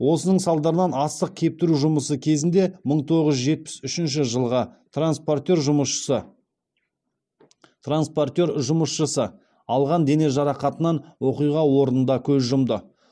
осының салдарынан астық кептіру жұмысы кезінде мың тоғыз жүз жетпіс үшінші жылғы транспортер жұмысшысы транспортер жұмысшысы алған дене жарақатынан оқиға орнында көз жұмды